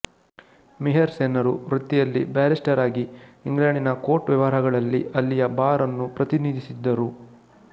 ಮಿಹಿರ್ ಸೆನ್ನರು ವೃತ್ತಿಯಲ್ಲಿ ಬ್ಯಾರಿಸ್ಟರ್ ಆಗಿ ಇಂಗ್ಲೆಂಡಿನ ಕೋರ್ಟ್ ವ್ಯವಹಾರಗಳಲ್ಲಿ ಅಲ್ಲಿಯ ಬಾರ್ ಅನ್ನು ಪ್ರತಿನಿಧಿಸಿದ್ದರು